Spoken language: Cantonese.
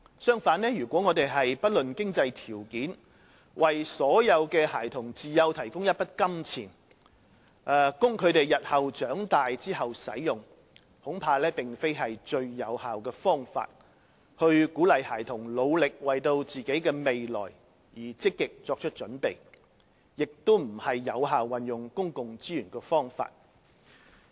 相反，如果我們不論經濟條件，為所有孩童自幼提供一筆金錢，供他們日後長大使用，恐怕並非最有效的方法去鼓勵孩子努力為自己的未來而積極作準備，亦非有效運用公共資源的方法。